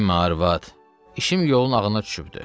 Dinmə ay arvad, işim yolun ağına düşübdür.